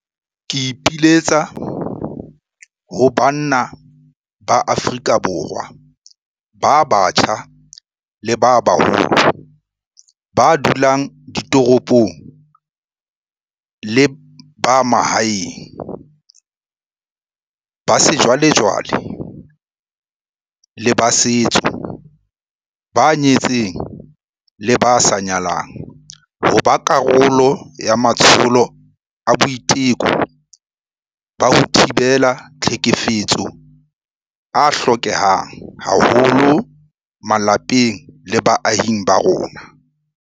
Ke ipiletsa ho banna ba Afrika Borwa ba batjha le ba baholo, ba dulang ditoropong le ba mahaeng, ba sejwalejwale le ba setso, ba nyetseng le ba sa nyalang, ho ba karolo ya matsholo a boiteko ba ho thibela tlhekefetso a hlokehang haholo malapeng le baahing ba rona.